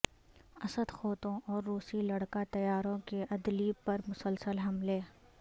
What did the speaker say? اسد قوتوں اور روسی لڑاکا طیاروں کے عدلیب پر مسلسل حملے